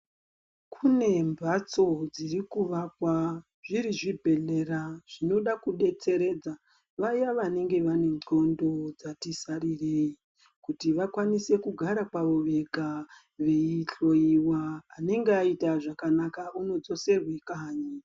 Kune mbatso dziri kuvakwa zviri zvibhedhlera zvinoda ku detseredza vaya vanenge vane ndxondo dzati sarirei kuti vakwanise kugara pavo vega vei hloyiwa anenge ayita zvakanaka uno dzoserwe kanyi.